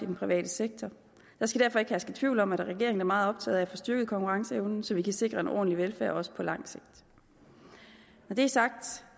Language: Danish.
den private sektor der skal derfor ikke herske tvivl om at regeringen er meget optaget af at få styrket konkurrenceevnen så vi kan sikre en ordentlig velfærd også på lang sigt når det er sagt